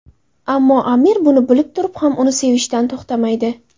Ammo Amir buni bilib turib ham uni sevishdan to‘xtamaydi.